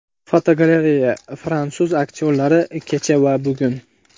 Fotogalereya: Fransuz aktyorlari kecha va bugun.